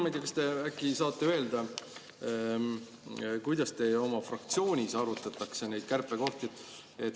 Ma ei tea, kas te äkki saate öelda, kuidas teie oma fraktsioonis arutatakse neid kärpekohti.